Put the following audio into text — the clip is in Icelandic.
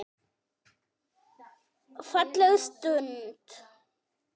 Falleg stund.